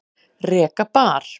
Reka bar